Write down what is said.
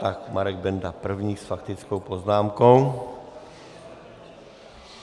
Tak Marek Benda první s faktickou poznámkou.